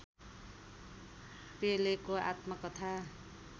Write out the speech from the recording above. पेलेको आत्मकथा